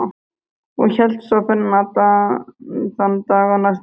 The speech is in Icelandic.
Og hélt svo ferðinni allan þann dag og næstu nótt.